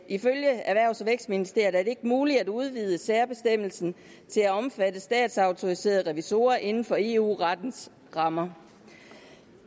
ifølge erhvervs og vækstministeriet ikke er muligt at udvide særbestemmelsen til at omfatte statsautoriserede revisorer inden for eu rettens rammer